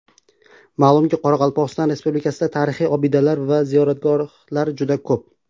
Ma’lumki, Qoraqalpog‘iston Respublikasida tarixiy obidalar va ziyoratgohlar juda ko‘p.